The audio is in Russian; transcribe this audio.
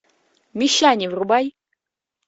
мещане врубай